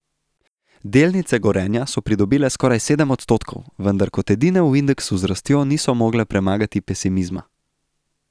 Delnice Gorenja so pridobile skoraj sedem odstotkov, vendar kot edine v indeksu z rastjo niso mogle premagati pesimizma.